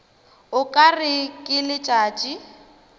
o ka re ke letšatši